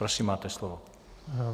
Prosím, máte slovo.